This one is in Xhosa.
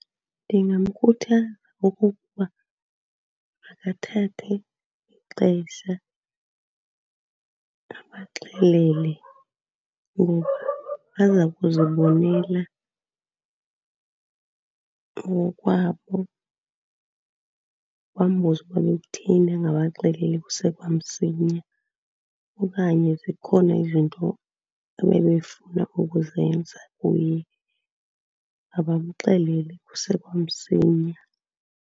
Ndingamkhuthaza okokuba makathathe ixesha abaxelele. Ngoba baza kuzibonelela ngokwabo bambuze ukuba bekutheni angabaxeleli kuse kwamsinya, okanye zikhona izinto abebefuna ukuzenza kuye. Abamxelele kuse kwamsinya.